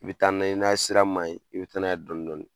I bɛ taa n'a ye, n'i y'a ye sira ma ɲi, i bɛ taa n'a ye dɔɔni dɔɔni